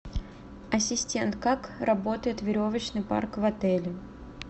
ассистент как работает веревочный парк в отеле